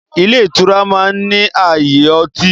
Ilé ìtura máa ń ní ààyè ọtí.